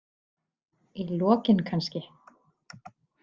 Í lokin kannski?